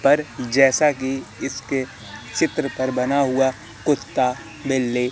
पर जैसा कि इसके चित्र पर बना हुआ कुत्ता बिल्ली--